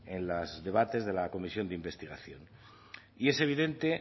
en los debates de la comisión de investigación es evidente